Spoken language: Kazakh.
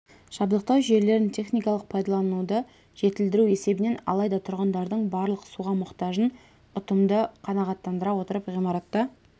жабдықтау жүйелерін техникалық пайдалануды жетілдіру есебінен алайда тұрғындардың барлық суға мұқтажын ұтымды қанағаттандыра отырып ғимаратта